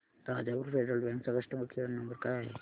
Rajapur federal bank चा customer care number काय आहे